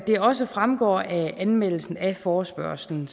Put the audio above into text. det også fremgår af anmeldelsen af forespørgslen